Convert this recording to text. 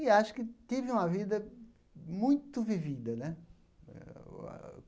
E acho que tive uma vida muito vivida né.